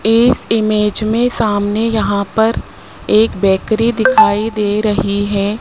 इस इमेज में सामने यहां पर एक बेकरी दिखाई दे रही है।